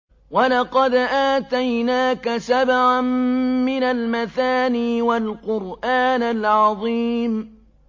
وَلَقَدْ آتَيْنَاكَ سَبْعًا مِّنَ الْمَثَانِي وَالْقُرْآنَ الْعَظِيمَ